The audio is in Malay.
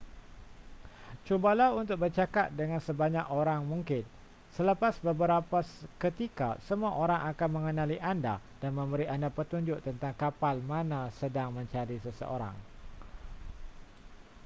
cubalah untuk bercakap dengan sebanyak orang mungkin selepas beberapa ketika semua orang akan mengenali anda dan memberi anda petunjuk tentang kapal mana sedang mencari seseorang